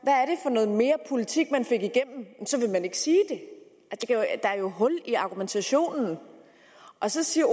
hvad mere politik man fik igennem vil man ikke sige det der er jo hul i argumentationen så siger